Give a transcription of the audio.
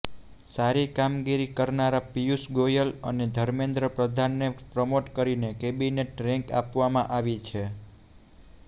સારી કામગીરી કરનારા પિયુષ ગોયલ અને ધર્મેન્દ્ર પ્રધાનને પ્રમોટ કરીને કેબિનેટ રેન્ક આપવામાં આવી છે